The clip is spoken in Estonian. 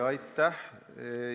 Aitäh!